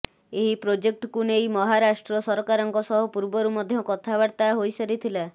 ଏହି ପ୍ରୋଜେକ୍ଟକୁ ନେଇ ମହାରାଷ୍ଟ୍ର ସରକାରଙ୍କ ସହ ପୂର୍ବରୁ ମଧ୍ୟ କଥାବାର୍ତ୍ତା ହୋଇସାରିଥିଲା